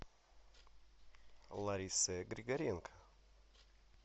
лариса григоренко